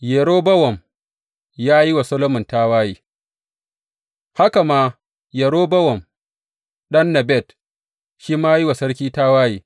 Yerobowam ya yi wa Solomon tawaye Haka ma Yerobowam, ɗan Nebat, shi ma ya yi wa sarki tawaye.